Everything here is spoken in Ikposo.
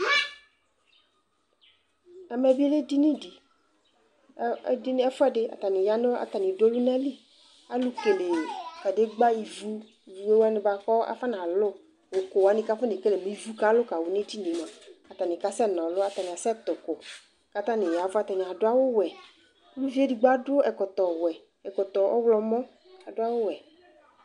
ɛmɛ bi lɛ ɛdini di kʋ ɛƒʋɛdi atani yanʋ atani dʋ ɔlʋnali, alʋ kɛlɛ kadigba ivʋ wani bʋakʋ akɔna lʋ, ɛkʋ wani kʋ akɔnɛ kɛlɛ kʋ ivʋ alʋ kawʋ nʋ ɛdiniɛ mʋa atani kasɛ nɔlʋ, atani kasɛ tʋ ʋkʋ kʋ atani yavʋ, atani adʋ awʋ wɛ, ʋviɛ ɛdigbɔ adʋ awʋ wɛ nʋ ɛkɔtɔ ɔwlɔmɔ